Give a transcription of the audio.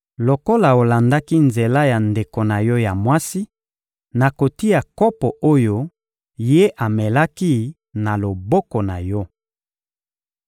Lokola olandaki nzela ya ndeko na yo ya mwasi, nakotia kopo oyo ye amelaki na loboko na yo.